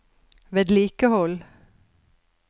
vedlikehold